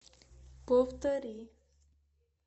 повтори